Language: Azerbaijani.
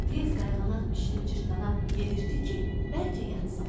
Tez qayğanaq bişirib Cırtdana yedirtdi ki, bəlkə yatsın.